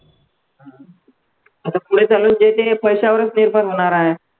आता पुढे चाल पैशावरच निर्माण होणार आहे.